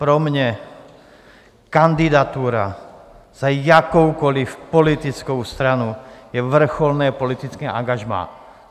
Pro mě kandidatura za jakoukoli politickou stranu je vrcholné politické angažmá.